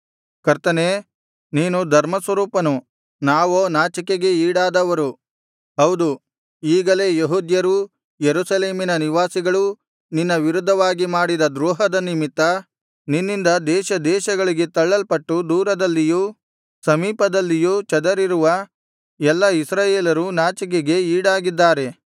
ಕರ್ತನೇ ನೀನು ಧರ್ಮಸ್ವರೂಪನು ನಾವೋ ನಾಚಿಕೆಗೆ ಈಡಾದವರು ಹೌದು ಈಗಲೇ ಯೆಹೂದ್ಯರೂ ಯೆರೂಸಲೇಮಿನ ನಿವಾಸಿಗಳೂ ನಿನ್ನ ವಿರುದ್ಧವಾಗಿ ಮಾಡಿದ ದ್ರೋಹದ ನಿಮಿತ್ತ ನಿನ್ನಿಂದ ದೇಶದೇಶಗಳಿಗೆ ತಳ್ಳಲ್ಪಟ್ಟು ದೂರದಲ್ಲಿಯೂ ಸಮೀಪದಲ್ಲಿಯೂ ಚದರಿರುವ ಎಲ್ಲಾ ಇಸ್ರಾಯೇಲರೂ ನಾಚಿಕೆಗೆ ಈಡಾಗಿದ್ದಾರೆ